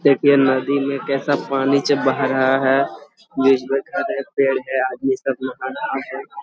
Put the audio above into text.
देखिए नदी में कैसा पानी च बही रहा है बीच मे घर है पेड़ है आदमी सब नहा रहे हैं।